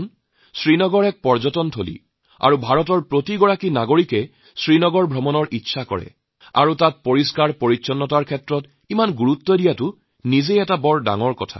শ্ৰীনগৰ এটি পৰ্যটন কেন্দ্ৰ আৰু ভাৰতৱৰ্ষৰ সকলো নাগৰিকৰে শ্ৰীনগৰলৈ যোৱাৰ ইচ্ছা থাকে তাত স্বচ্ছতাৰ প্ৰতি এনে গুৰুত্ব আৰোপ কৰাটো সচাই গুৰুত্বপূৰ্ণ